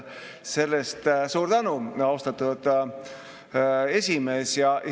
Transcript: Selle eest suur tänu, austatud esimees!